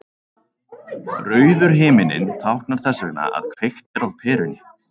Rauður himinninn táknar þess vegna að kveikt er á perunni.